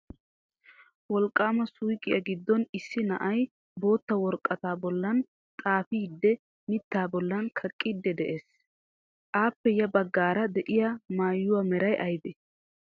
Wolqqama suuqiya giddon issi na'ay bootta woraqqata bollan xaafidi mitta bollan kaqqiidi de'ees. Appe ya baggaara de'iyaa maayuwa meray aybbe?